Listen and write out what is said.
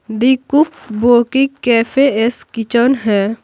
The cook book की cafes kitchen है।